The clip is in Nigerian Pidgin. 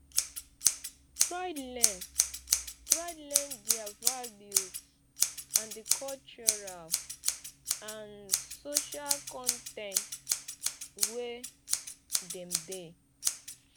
try learn try learn their values and di cultural and social context wey dem dey